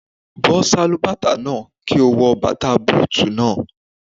Bọ́ Sálúbàtà náà, kí o wọ bàtà bútùù náà.